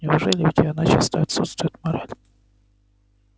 неужели у тебя начисто отсутствует мораль